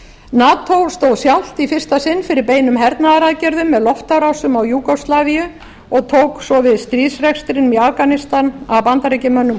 nato stóð sjálft í fyrsta sinn fyrir beinum hernaðaraðgerðum með loftárásum á júgóslavíu og tók svo við stríðsrekstrinum í afganistan af bandaríkjamönnum